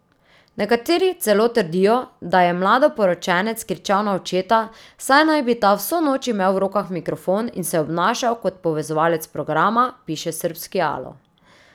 Nekateri celo trdijo, da je mladoporočenec kričal na očeta, saj naj bi ta vso noč imel v rokah mikrofon in se obnašal kot povezovalec programa, piše srbski Alo.